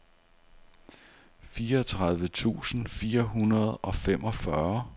fireogtredive tusind fire hundrede og femogfyrre